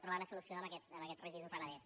trobar una solució a aquests residus ramaders